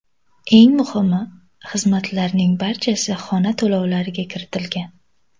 Eng muhimi, xizmatlarning barchasi xona to‘lovlariga kiritilgan.